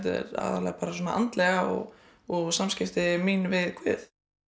meira andlega og og samskipti mín við guð